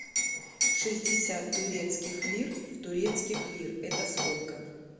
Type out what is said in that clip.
шестьдесят турецких лир в турецких лир это сколько